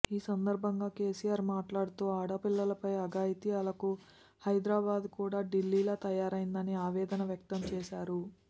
ఈ సందర్భంగా కెసిఆర్ మాట్లాడుతూ ఆడపిల్లలపై అఘాయిత్యాలకు హైదరాబాద్ కూడా ఢిల్లీలా తయారైందని ఆవేదన వ్యక్తం చేశారు